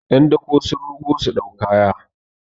yan dako sun rugo su dau kaya